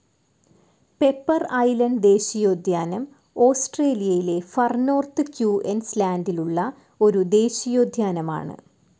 Piper Island ദേശിയോദ്ധ്യാനം ഓസ്ട്രേലിയയിലെ far north ക്യൂ ന്‌ സ്‌ ലാൻഡിലുള്ള ഒരു ദേശിയോദ്ധ്യൻഅമൻ.